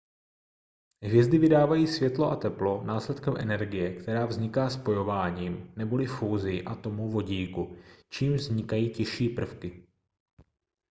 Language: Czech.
hvězdy vydávají světlo a teplo následkem energie která vzniká spojováním neboli fúzí atomů vodíku čímž vznikají těžší prvky